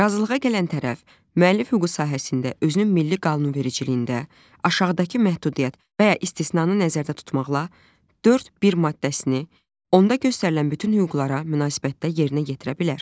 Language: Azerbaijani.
Razılığa gələn tərəf müəllif hüququ sahəsində özünün milli qanunvericiliyində aşağıdakı məhdudiyyət və ya istisnanı nəzərdə tutmaqla, Dörd bir maddəsini, onda göstərilən bütün hüquqlara münasibətdə yerinə yetirə bilər.